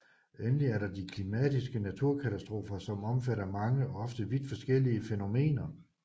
Endelig er der de klimatiske naturkatastrofer som omfatter mange og ofte vidt forskellige fænomener